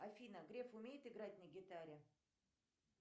афина греф умеет играть на гитаре